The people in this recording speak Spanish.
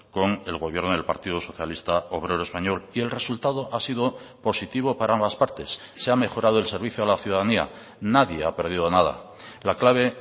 con el gobierno del partido socialista obrero español y el resultado ha sido positivo para ambas partes se ha mejorado el servicio a la ciudadanía nadie ha perdido nada la clave